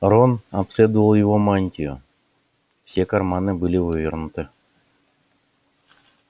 рон обследовал его мантию все карманы были вывернуты